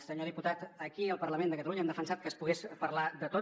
senyor diputat aquí al parlament de catalunya hem defensat que es pogués parlar de tot